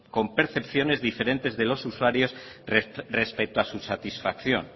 con percepciones diferentes de los usuarios respecto a su satisfacción